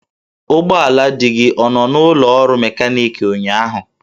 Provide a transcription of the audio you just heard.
Ụgbọala di gị ọ nọ n'ụlọ ọrụ mekaniki ụnyahụ?